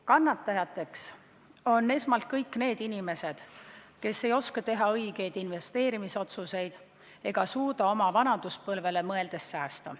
Kannatajateks on esmalt kõik need inimesed, kes ei oska teha õigeid investeerimisotsuseid ega suuda oma vanaduspõlvele mõeldes säästa.